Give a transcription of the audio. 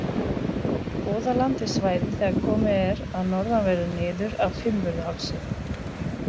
Goðaland er svæðið þegar komið er að norðanverðu niður af Fimmvörðuhálsi.